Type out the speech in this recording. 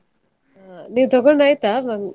ಅಹ್ ನೀವು ತಗೊಂಡಾಯ್ತಾ?